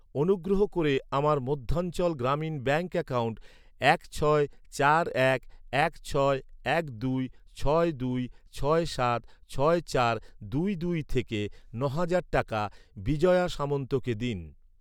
অনুগ্রহ করে আমার মধ্যাঞ্চল গ্রামীণ ব্যাঙ্ক অ্যাকাউন্ট এক ছয় চার এক এক ছয় এক দুই ছয় দুই ছয় সাত ছয় চার দুই দুই থেকে ন'হাজার টাকা বিজয়া সামন্তকে দিন।